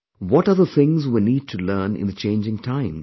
What are the things we need to learn in the changing times